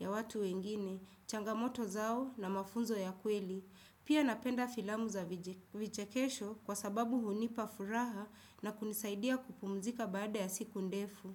ya watu wengine, changamoto zao na mafunzo ya kweli. Pia napenda filamu za vichekesho kwa sababu hunipa furaha na kunisaidia kupumzika baada ya siku ndefu.